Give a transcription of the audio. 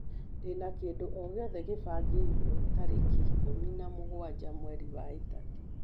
ndĩ na kĩndũ o giothe gĩbangĩirwo tarĩki ikũmi na mũgwanja mweri wa ĩtatũ